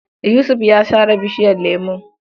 Yusuf ya sare bishiyar lemon.